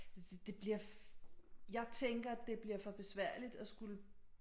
Altså det bliver jeg tænker at det bliver for besværligt at skulle